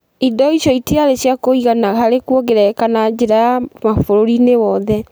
Indo icio itiarĩ cia kũigana harĩ kũongerereka na njĩra ya ma bũrũri-inĩ wothe.